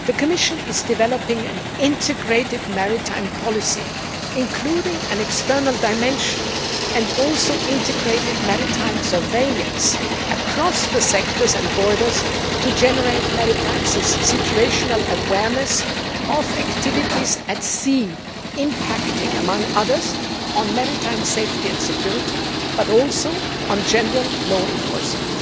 The Commission is developing an integrated maritime policy including an external dimension and also integrated maritime surveillance across the sectors and borders to generate maritime situational awareness of activities at sea, impacting, among other things, on maritime safety and security, but also on general law enforcement.